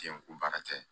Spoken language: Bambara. K'i ko baara tɛ